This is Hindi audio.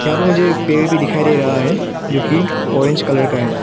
जब मुझे पेड़ भी दिखाई दे रहा है जो की ऑरेंज कलर का है।